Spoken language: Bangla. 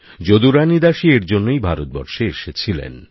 যদুরানী দাসী এর জন্যেই ভারতবর্ষে এসেছিলেন